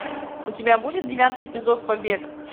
у тебя будет девятый эпизод побег